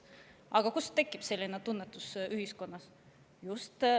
Aga miks tekib selline tunnetus ühiskonnas?